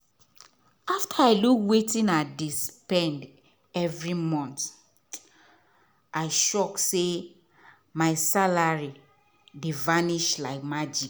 after i look wetin i dey spend every month i shock say my salary dey vanish like magic.